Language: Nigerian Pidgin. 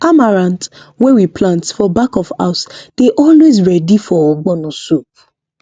amaranth wey we plant for back of house dey always ready for ogbono soup